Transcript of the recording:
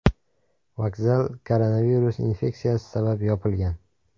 Vokzal koronavirus infeksiyasi sabab yopilgan.